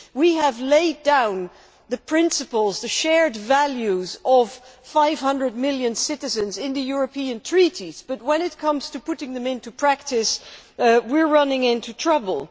We have laid down the principles the shared values of 500 million citizens in the European treaties but, when it comes to putting them into practice, we run into trouble.